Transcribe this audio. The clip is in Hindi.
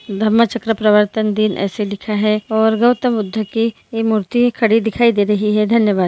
ध्र्मचाक्रप्रवतन दिन ऐसे लिखा हुआ है और गौतम बुद्ध ये मूर्ति खड़ी दिखाई दे रही है धन्यवाद ।